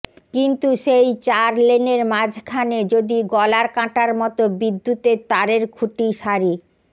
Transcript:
কিন্তু সেই চার লেনের মাঝখানে যদি গলার কাঁটার মতো বিদ্যুতের তারের খুঁটি সারি